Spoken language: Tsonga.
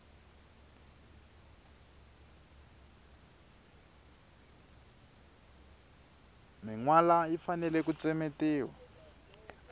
minwala yi fanele ku tsemetiwa